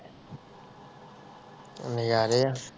ਹਮ ਨਜ਼ਾਰੇ ਆ